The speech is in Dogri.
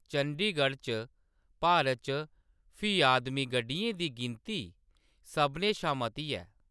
चंडीगढ़ च भारत च फी आदमी गड्डियें दी गिनती सभनें शा मती ऐ।